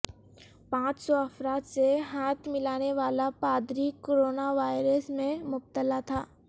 پانچ سو افراد سے ہاتھ ملانے والا پادری کرونا وائرس میں مبتلا تھا